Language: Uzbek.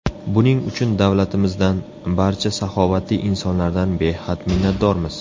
Buning uchun davlatimizdan, barcha saxovatli insonlardan behad minnatdormiz.